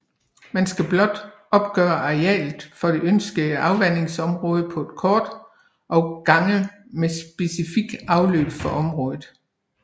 Man skal blot opgøre arealet for det ønskede afvandingsområde på et kort og gange med specifikt afløb for område